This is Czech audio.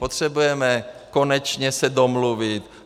Potřebujeme se konečně domluvit.